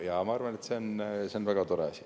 Ma arvan, et see on väga tore asi.